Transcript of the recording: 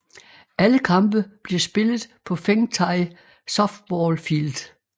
Alle kampe bliver spillet på Fengtai Softball Field